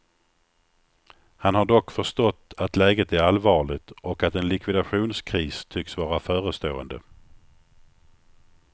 Han har dock förstått att läget är allvarligt och att en likvidationskris tycks vara förestående.